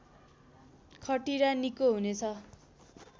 खटिरा निको हुनेछ